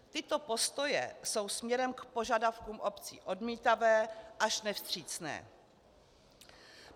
Tyto postoje jsou směrem k požadavkům obcí odmítavé až nevstřícné.